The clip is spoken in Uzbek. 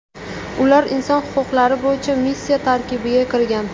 Ular inson huquqlari bo‘yicha missiya tarkibiga kirgan.